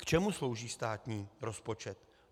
K čemu slouží státní rozpočet?